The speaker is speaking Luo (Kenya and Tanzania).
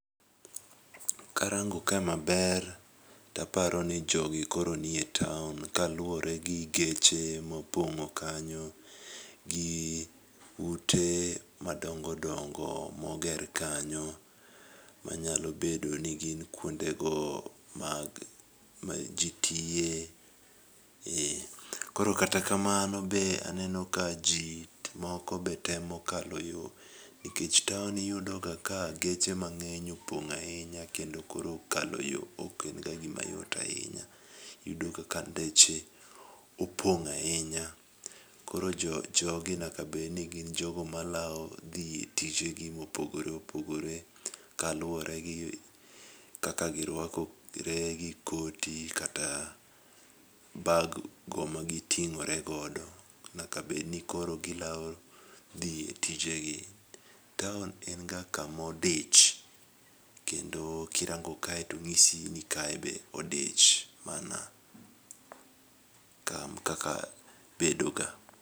Karango ka maber, taparo ni jogi koro nie taon kaluwore gi geche mopong'o kanyo gi ute madongo dongo moger kanyo manyalo bedo ni gin kwondego ma ji tiye, koro kata akamno, be aneno ka ji moko be temo kalo yo, nikech taon iyudo ga ka geche mang'eny opong' ahinya kendo koro kalo yo ok en ga gima yot ahinya. Iyudo ka ndeche opong' ahinya koro jogi nyaka bedni gin jogo malawo dhi tije gi mopogore opogore kaluwore gi kaka girwakore gi koti kata baggo magiting'ore godo, nyaka bedni koro gilawo dhi e tijegi. Taon en ga kamodich, kendo kirango kae to ng'isi ni kae be odich mana kaka bedoga.